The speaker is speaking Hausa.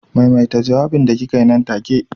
Maimaita jawabin da kikaa yi nan take.